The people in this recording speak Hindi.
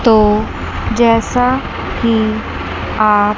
तो जैसा कि आप--